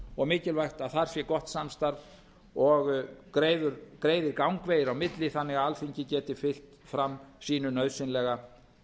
og mikilvægt að þar sé gott samstarf og greiðir gangvegir á milli þannig að alþingi geti fylgt fram sínu nauðsynlega